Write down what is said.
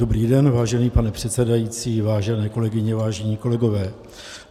Dobrý den, vážený pane předsedající, vážené kolegyně, vážení kolegové.